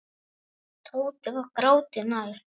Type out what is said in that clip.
Tóti var gráti nær.